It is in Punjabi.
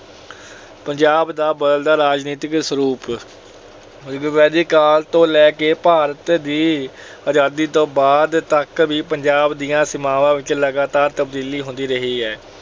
ਪੰਜਾਬ ਦਾ ਬਦਲਦਾ ਰਾਜਨੀਤਿਕ ਸਰੂਪ ਰਿਗਵੇਦਿਕ ਕਾਲ ਤੋਂ ਲੈ ਕੇ ਭਾਰਤ ਦੀ ਆਜਾਦੀ ਤੋਂ ਬਾਅਦ ਤੱਕ ਵੀ ਪੰਜਾਬ ਦੀਆਂ ਸੀਮਾਵਾਂ ਵਿੱਚ ਲਗਾਤਾਰ ਤਬਦੀਲੀ ਹੁੰਦੀ ਰਹੀ ਹੈ।